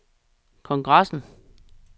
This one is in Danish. kongressen